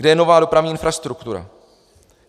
Kde je nová dopravní infrastruktura?